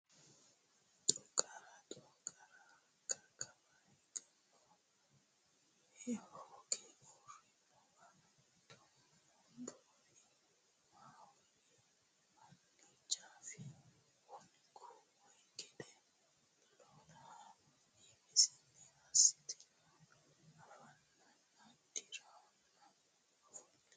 Xooqara Xooqara hakka kawa higannowa hooge uurrinowa Danboowe Maahoyyena hanni gaffi hunku way gede lolahe imisinni assiteenna anfannina dirranna ofolli !